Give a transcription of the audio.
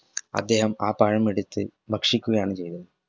അദ്ദേഹം ആ പഴം എടുത്ത് ഭക്ഷിക്കുകയാണ് ചെയ്‌തത്‌